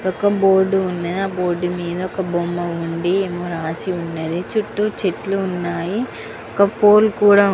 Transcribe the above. ఒక బోర్డు వుంది ఆ బోర్డు మీద ఒక బొమ్మ వుంది ఏదో రాసి వుంది చుట్టూ చెట్లు వున్నాయి ఒక పోల్ కూడా వు --